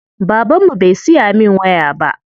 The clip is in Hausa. Baban mu bai siya min waya ba.